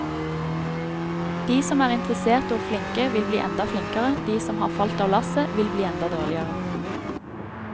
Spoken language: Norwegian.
De som er interesserte og flinke vil ble enda flinkere, de som har falt av lasset vil bli enda dårligere.